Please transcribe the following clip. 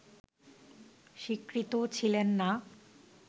স্বীকৃত ছিলেন না